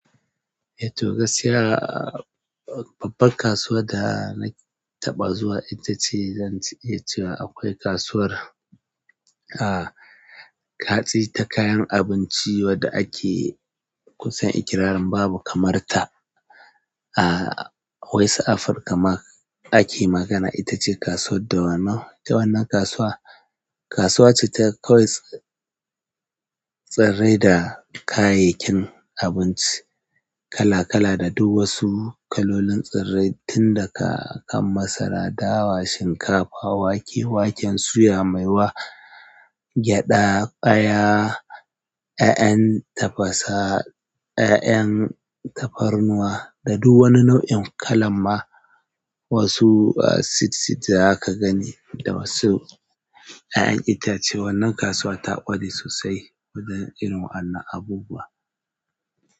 To gaskiya babban kasuwan dana taɓa zuwa itace zan iya cewa akwai kasuwar ah kayan abinci wanda ake kusan ikirarin babu kamar ta, ah, West Africa ma ake magana. Ita ce kasuwar dawanau, ita wannan kasuwa, kasuwa ce ta kwas tsare da kayayyakin abinci kala-kala da duk wasu kalolin tsare, tun daga kan masara, dawa, shinkafa, wake, waken suya mai wa, gyaɗa, ƙaya, ya'yan tafasa, ya'yan tafarnuwa da duk wani nau'in kala ma. Wasu sit sit da zaka gani da wasu ƴaƴan itace wannan kasuwa ta ƙware sosai wajen irin wannan abubuwa.